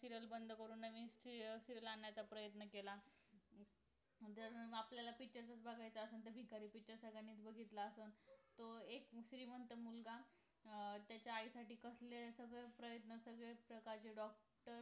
serial बंद करून नवीन serial आणण्याचा प्रयत्न केला आपल्याला picture चच बघायचं असेल तर भिकारी picture सगळ्यांनीच बघितला असेल तो एक श्रीमंत मुलगा अं त्याच्या आईसाठी कसले सगळे प्रयत्न सगळे सगळ्या प्रकारचे doctor